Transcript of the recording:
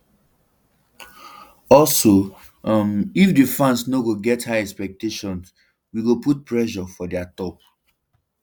also um if di fans no go get high expectations um wey go put pressure for dia top